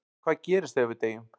En hvað gerist þegar við deyjum?